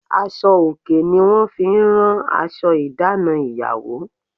Aṣọ òkè ni wọ́n fi rán aṣọ ìdáná ìyàwó.